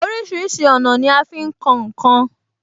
Orísìírísìí ọ̀nà ni a fi ń kan ǹ kan